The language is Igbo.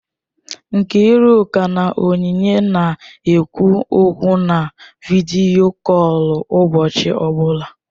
Nkiruka na Onyinye na-ekwu okwu na vidiyo kọl ụbọchị ọbụla.